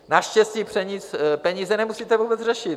Naštěstí peníze nemusíte vůbec řešit.